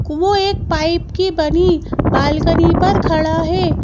एक पाइप की बनी बालकनी पर खड़ा है।